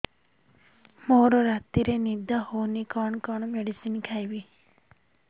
ମୋର ରାତିରେ ନିଦ ହଉନି କଣ କଣ ମେଡିସିନ ଖାଇବି